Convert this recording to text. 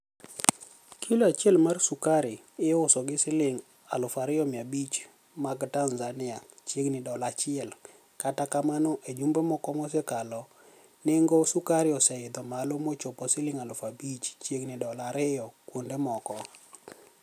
kilo achiel mar sukari iuso gi silinig' 2,500 mag Tanizaniia (chiegnii dola achiel), kata kamano, e jumbe moko mosekalo, ni enigo sukari oseidho malo mochopo silinig' 5,000 (chiegnii dola ariyo) kuonide moko.